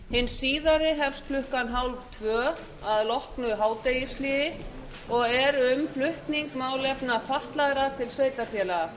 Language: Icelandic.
hin síðari hefst um klukkan hálftvö að loknu hádegishléi og er um flutning málefna fatlaðra til sveitarfélaga